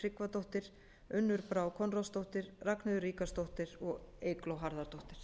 tryggvadóttir unnur brá konráðsdóttir ragnheiður ríkharðsdóttir og eygló harðardóttir